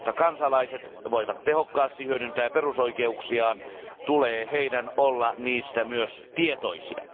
Jotta kansalaiset voivat tehokkaasti hyödyntää perusoikeuksiaan, tulee heidän olla niistä myös tietoisia.